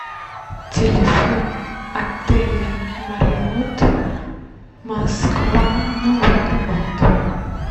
телефон отеля мариот москва новый арбат